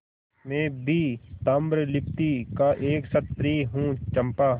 मैं भी ताम्रलिप्ति का एक क्षत्रिय हूँ चंपा